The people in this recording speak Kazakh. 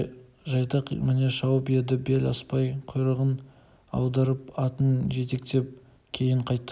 жайдақ міне шауып еді бел аспай құйрығын алдырып атын жетектеп кейін қайтты